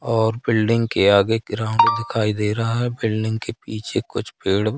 और फिल्डिंग के आगे ग्राउंड दिखाई दे रहा है बिल्डिंग के पीछे कुछ पेड़--